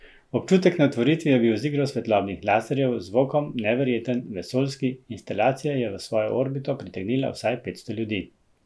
Občutek na otvoritvi je bil z igro svetlobnih laserjev, z zvokom, neverjeten, vesoljski, instalacija je v svojo orbito pritegnila vsaj petsto ljudi.